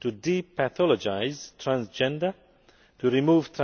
to depathologise' transgender and remove